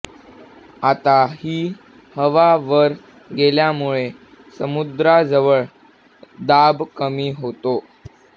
आता ही हवा वर गेल्यामुळे समुद्राजवळ दाब कमी होतो